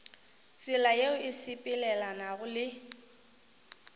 tsela yeo e sepelelanago le